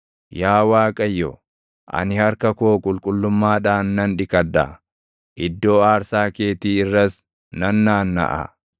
Yaa Waaqayyo, ani harka koo qulqullummaadhaan nan dhiqadha; iddoo aarsaa keetii irras nan naannaʼa.